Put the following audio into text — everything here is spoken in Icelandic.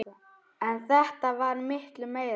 En þetta varð miklu meira.